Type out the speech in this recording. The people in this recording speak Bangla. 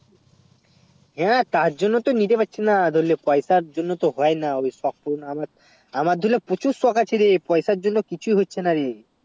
হেঁ তার জন্যে তো নিতে পাচ্ছি না ধরলে পয়সা জন্য তো হয়ে না সব পূর্ণ আমার আমার দুলে প্রচুর শখ আছে রে পয়সা জন্য কিছু হচ্ছে না রে